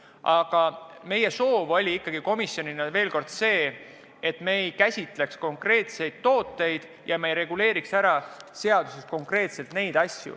Aga meie soov komisjonis oli, kordan veel kord, et me ei käsitleks konkreetseid tooteid, ei reguleeriks seaduses kõike konkreetselt.